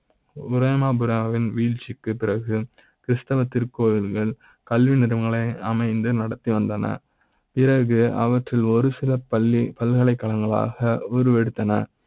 ரோமாபுரி வின் வீழ்ச்சி க்கு பிறகு கிருஷ்ணன் திருக்கோயில்கள் கல்வி நிறுவனங்களை அமைந்து நடத்தி வந்தனர் பிறகு அவற்றி ல் ஒரு சில பள்ளி பல்கலைக்கழக ங்களாக உருவெடுத்தன.